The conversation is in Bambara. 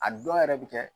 A dɔw yɛrɛ bɛ kɛ